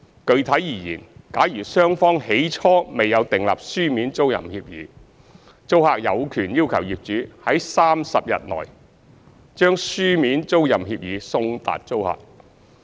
具體而言，假如雙方起初未有訂立書面租賃協議，租客有權要求業主在30日內，將書面租賃協議送達租客。